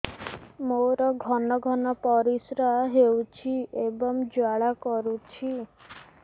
ମୋର ଘନ ଘନ ପରିଶ୍ରା ହେଉଛି ଏବଂ ଜ୍ୱାଳା କରୁଛି